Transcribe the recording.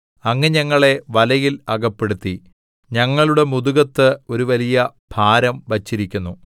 അങ്ങ് ഞങ്ങളെ വലയിൽ അകപ്പെടുത്തി ഞങ്ങളുടെ മുതുകത്ത് ഒരു വലിയ ഭാരം വച്ചിരിക്കുന്നു